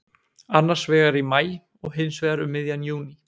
Annarsvegar í maí og hinsvegar um miðjan júní.